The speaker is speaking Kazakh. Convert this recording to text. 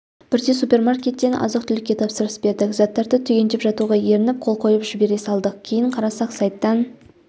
бірде супермаркеттен азық-түлікке тапсырыс бердік заттарды түгендеп жатуға ерініп қол қойып жібере салдық кейін қарасақ сайттан